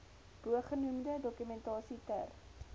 bogenoemde dokumentasie ter